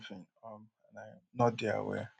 what if i bin tok sometin um and i um no dey aware